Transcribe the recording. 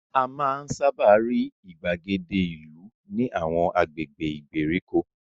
A máa ń sábà rí ìgbàgede ìlú ní àwọn agbègbè ìgbèríko